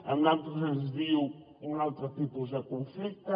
en altres es diu un altre tipus de conflicte